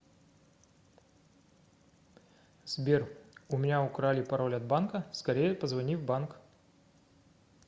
сбер у меня украли пароль от банка скорее позвони в банк